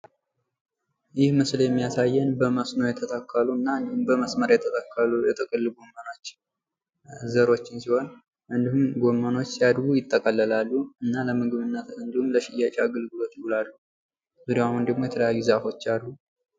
ይህ ምስል የሚያሳየን በመስኖ የተተከሉን እንዲሁም በመስመር የተተከሉ የጥቅል ጎመን ዘሮችን ሲሆን እንዲሁም ለምግብነት እና ለሽያጭነት ያገለግላሉ። ዙሪያውን ደግሞ የተለያዩ ዛፎች አሉ።